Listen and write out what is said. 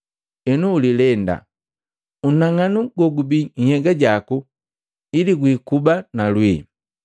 Henu ulilenda, unang'anu gogubii nhyega jaku ili gwiikuba na lwii.